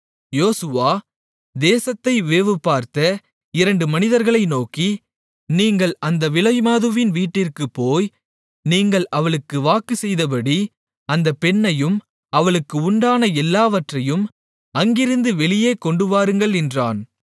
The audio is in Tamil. யோசுவா தேசத்தை வேவுபார்த்த இரண்டு மனிதர்களை நோக்கி நீங்கள் அந்த விலைமாதுவின் வீட்டிற்குப் போய் நீங்கள் அவளுக்கு வாக்குச்செய்தபடி அந்தப் பெண்ணையும் அவளுக்கு உண்டான எல்லாவற்றையும் அங்கிருந்து வெளியே கொண்டுவாருங்கள் என்றான்